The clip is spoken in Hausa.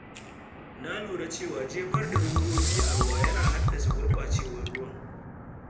Na lura cewa jefar da robobi a ruwa yana haddasa gurɓacewar ruwan.